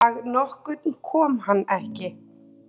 Dag nokkurn kom hann ekki.